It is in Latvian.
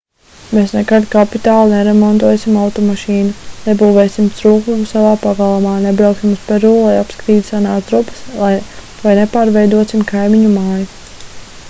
mēs nekad kapitāli neremontēsim automašīnu nebūvēsim strūklaku savā pagalmā nebrauksim uz peru lai apskatītu senās drupas vai nepārveidosim kaimiņu māju